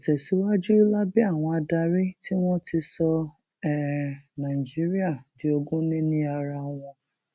tẹ síwájú lábẹ àwọn adarí tí wọn ti sọ um nàìjíríà di ogúnìní ara wọn um